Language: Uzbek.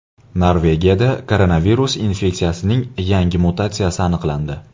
Norvegiyada koronavirus infeksiyasining yangi mutatsiyasi aniqlandi.